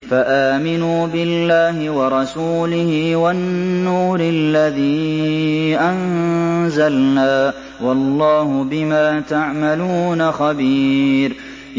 فَآمِنُوا بِاللَّهِ وَرَسُولِهِ وَالنُّورِ الَّذِي أَنزَلْنَا ۚ وَاللَّهُ بِمَا تَعْمَلُونَ خَبِيرٌ